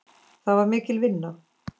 Það var mikil vinna.